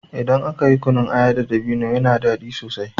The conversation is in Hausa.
Idan aka yi kunun aya da dabino yana daɗi sosai.